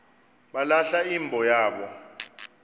balahla imbo yabo